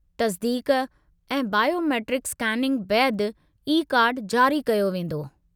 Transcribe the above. तस्दीक़ ऐं biometric scanning बैदि ई-कार्डु जारी कयो वेंदो।